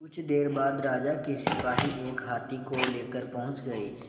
कुछ देर बाद राजा के सिपाही एक हाथी लेकर पहुंच गए